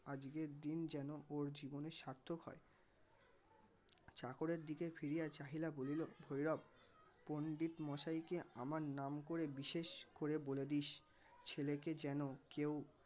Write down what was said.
আজকের দিন যেন ওর জীবনে সার্থক হয় চাকরের দিকে তাকিয়া চাহিয়া ফিরিয়া বলিল ভৈরব পণ্ডিত মশাইকে আমার নাম করে বিশেষ করে বলে দিস ছেলেকে যেন কেউ